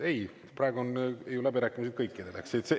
Ei, praegu on ju läbirääkimised kõikidele.